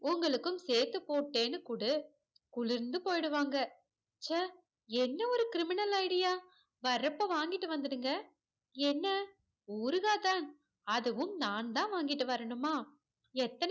உங்களுக்கும் சேத்து போட்டேன்னு குடு குளிர்ந்து போய்டுவாங்க ச்சா என்ன ஒரு criminal idea வரப்ப வாங்கிட்டு வந்துடுங்க என்ன ஊறுகா தான் அதுவும் நான் தான் வாங்கிட்டு வரணுமா எத்தனை